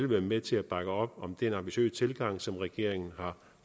være med til at bakke op om den ambitiøse tilgang som regeringen har